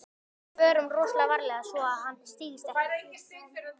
En förum rosalega varlega svo að hann styggist ekki.